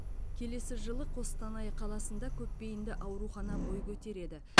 келесі жылы қостанай қаласында көпбейінді аурухана бой көтереді